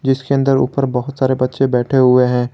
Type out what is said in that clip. इसके अंदर ऊपर बहुत सारे बच्चे बैठे हुए हैं।